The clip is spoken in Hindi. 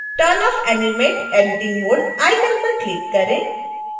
turn off animate editing mode icon पर क्लिक करें